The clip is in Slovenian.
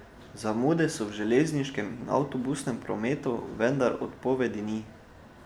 Zamude so v železniškem in avtobusnem prometu, vendar odpovedi ni.